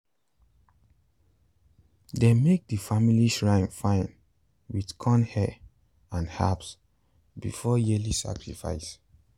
dem make the family shrine fine with corn hair and herbs before the yearly sacrifice.